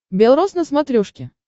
белрос на смотрешке